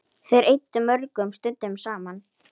Þær eyddu mörgum stundum saman.